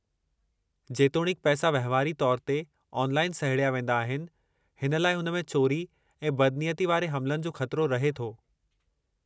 जेतोणीकु पैसा वहिंवारी तौर ते ऑनलाइन सहेड़िया वेंदा आहिनि, हिन लइ हुन में चोरी ऐं बदनियती वारे हमलनि जो ख़तरो रहे थो।